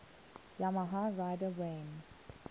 yamaha rider wayne